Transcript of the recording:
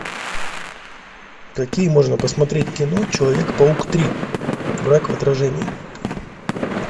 какие можно посмотреть кино человек паук три враг в отражении